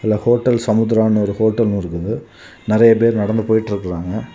இதுல வந்து ஹோட்டல் சமுத்திரான்னு ஒரு ஹோட்டலும் இருக்குது. நிறைய பேர் நடந்து போயிட்டுருக்குறாங்க.